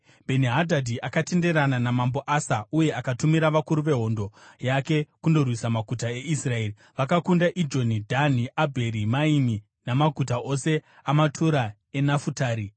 Bheni-Hadhadhi akatenderana namambo Asa uye akatumira vakuru vehondo yake kundorwisa maguta eIsraeri. Vakakunda Ijoni, Dhani, Abheri Maimi namaguta ose amatura eNafutari.